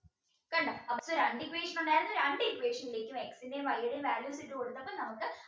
കണ്ടോ അപ്പൊ രണ്ട് equation ഉണ്ടായിരുന്നത് രണ്ട് equation ലേക്കും X ന്റെം Y ടേം values ഇട്ടു കൊടുത്തപ്പോൾ നമുക്ക്